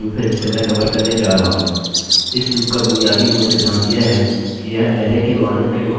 इस लूपloop का बुनियादी मूल सिद्धांत यह है कि यह अरैarray के मानों के माध्यम से लूपloop करेगा